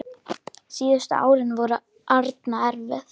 Síðustu árin voru Árna erfið.